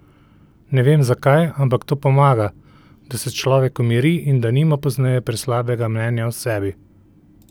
Ne vem zakaj, ampak to pomaga, da se človek umiri in da nima pozneje preslabega mnenja o sebi.